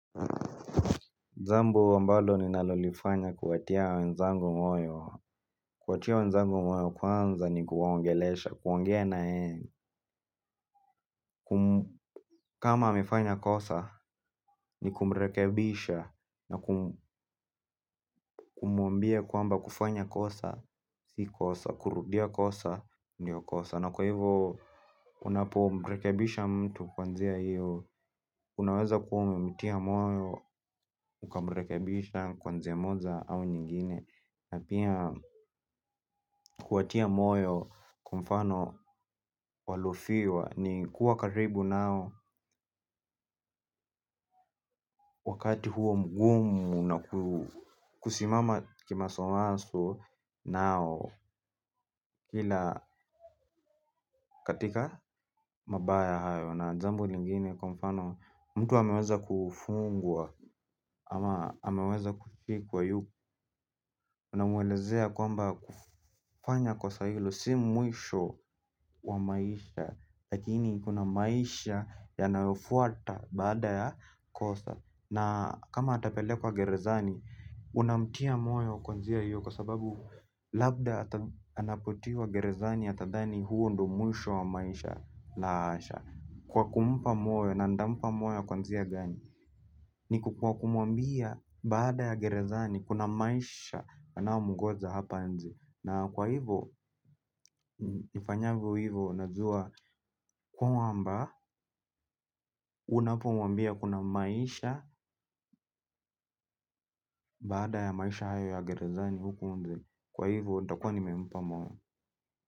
Jambo ambado ninalolifanya kuwatia wenzangu mwayo. Kuatia wenzangu moyo kwanza ni kuwaongelesha, kuongea nayeye. Kama amefanya kosa, ni kumrekebisha na kumwambia kwamba kufanya kosa, si kosa, kurudia kosa, ndio kosa. Na kwa hivo, unapomrekebisha mtu njia hiyo, unaweza kuwa umemtia moyo, ukamrekebisha njia moja au nyingine. Na pia kuwatia moyo kwa mfano waliofiwa ni kuwa karibu nao wakati huo mgumu na kusimama kimasomaso nao. Kila katika mabaya hayo na jambo lingine kwa mfano mtu ameweza kufungwa ama ameweza kufikwa yu. Unamwelezea kwamba kufanya kosa hilo si mwisho wa maisha. Lakini kuna maisha yanayofuata baada ya kosa. Na kama atapelekwa gerezani, unamtia moyo kwa njia hiyo kwa sababu labda anapotiwa gerezani atadhani huo ndo mwisho wa maisha lahasha. Kwa kumpa moyo na nitampa moyo kwa njia gani. Ni ku kwa kumwambia baada ya gerezani kuna maisha yanayomngoja hapa nje na kwa hivyo nifanyavyo hivyo najua kwamba unapomwambia kuna maisha baada ya maisha hayo ya gerezani huku nje. Kwa hivyo nitakuwa nimempa moyo.